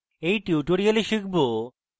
in tutorial আমরা শিখব: